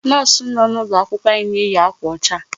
Nurse nọ n'ụlọ akwụkwọ anyị na-eyi akwa ọcha.